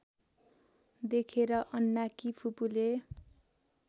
देखेर अन्नाकी फुपूले